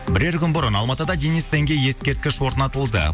бірер күн бұрын алматыда денис тенге ескерткіш орнатылды